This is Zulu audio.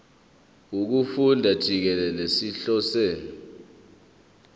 wokufunda jikelele sihlose